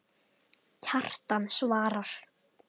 Kjartan svarar